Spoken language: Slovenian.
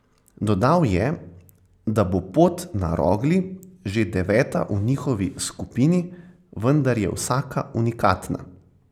Dodal je, da bo pot na Rogli že deveta v njihovi skupini, vendar je vsaka unikatna.